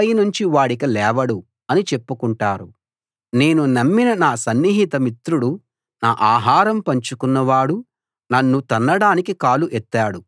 ఒక చెడ్డ రోగం వాణ్ణి గట్టిగా పట్టుకుంది ఇప్పుడు వాడు పడకపై ఉన్నాడు దానిపైనుంచి వాడిక లేవడు అని చెప్పుకుంటారు